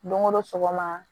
Don o don sɔgɔma